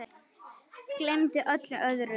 Gleymdi öllu öðru.